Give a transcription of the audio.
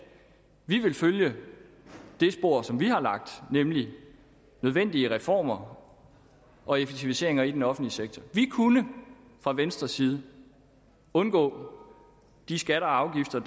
vi vil følge det spor som vi har lagt nemlig nødvendige reformer og effektiviseringer i den offentlige sektor vi kunne fra venstres side undgå de skatter og afgifter